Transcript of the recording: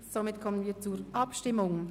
Somit kommen wir zur Abstimmung.